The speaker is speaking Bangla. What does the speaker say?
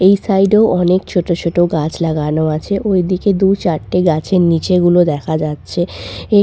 এই সাইডে অনেক ছোট ছোট গাছ লাগানো আছে ওইদিকে দু-চারটে গাছের নিচে গুলো দেখা যাচ্ছে এই--